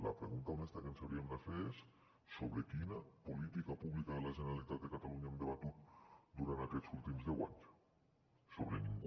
la pregunta honesta que ens hauríem de fer és sobre quina política pública de la generalitat de catalunya hem debatut durant aquests últims deu anys sobre cap